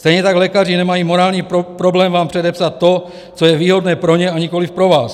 Stejně tak lékaři nemají morální problém vám předepsat to, co je výhodné pro ně, a nikoliv pro vás.